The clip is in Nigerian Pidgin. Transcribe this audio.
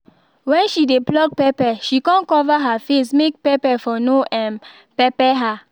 when she dey pluck pepper she con cover her face make pepper for no um pepper her